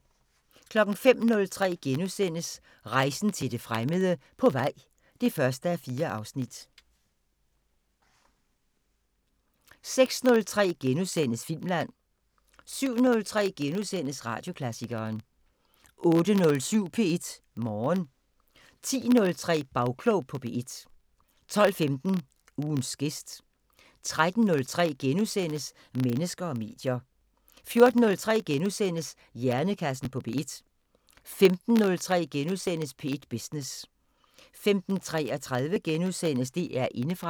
05:03: Rejsen til det fremmede: På vej (1:4)* 06:03: Filmland * 07:03: Radioklassikeren * 08:07: P1 Morgen 10:03: Bagklog på P1 12:15: Ugens gæst 13:03: Mennesker og medier * 14:03: Hjernekassen på P1 * 15:03: P1 Business * 15:33: DR Indefra *